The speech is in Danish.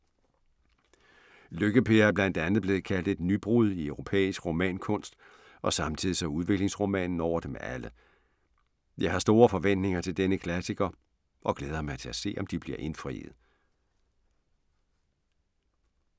Lykke-Per er blandt andet blevet kaldt et nybrud i europæisk romankunst og samtids- og udviklingsromanen over dem alle. Jeg har store forventninger til denne klassiker og glæder mig til at se, om de bliver indfriet!